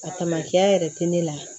A tamacɛya yɛrɛ te ne la